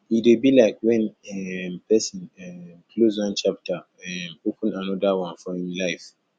e dey be like when um person um close one chapter um open anoda one for im life